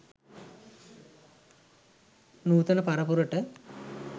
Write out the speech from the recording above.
නූතන පරපුරට